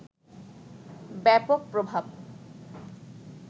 ব্যাপক প্রভাব